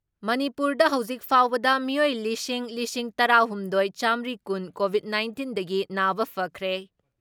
ꯃꯅꯤꯄꯨꯔꯗ ꯍꯧꯖꯤꯛ ꯐꯥꯎꯕꯗ ꯃꯤꯑꯣꯏ ꯂꯤꯁꯤꯡ ꯂꯤꯁꯤꯡ ꯇꯔꯥ ꯍꯨꯝꯗꯣꯏ ꯆꯥꯃꯔꯤ ꯀꯨꯟ ꯀꯣꯚꯤꯠ ꯅꯥꯏꯟꯇꯤꯟꯗꯒꯤ ꯅꯥꯕ ꯐꯈ꯭ꯔꯦ ꯫